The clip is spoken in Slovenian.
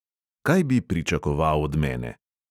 Kaj bi pričakoval od mene?